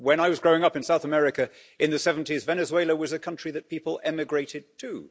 When I was growing up in South America in the 70s Venezuela was a country that people emigrated to.